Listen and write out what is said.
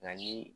Nka ni